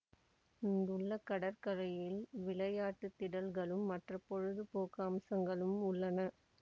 இங்குள்ள கடற்கரையில் விளையாட்டு திடல்களும் மற்ற பொழுது போக்கு அம்சங்களும் உள்ளன